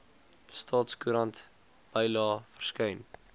staatskoerant bylae verskyn